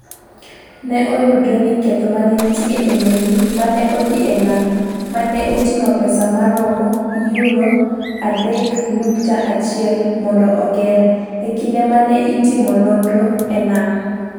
Ne oyudre ni ketho ma ne nitie e meli ma ne odhi e nam, ma ne oting’o pesa ma romo £3.1 mondo oger, e kinde ma ne itimo nonro e nam.